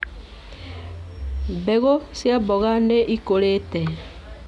Mbegũ cia mboga nĩ ikũrĩte